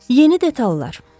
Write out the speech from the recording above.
Yeni detallar.